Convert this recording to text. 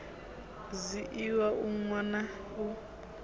zwiiwa u nwa na u